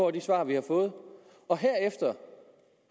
af de svar vi har fået og herefter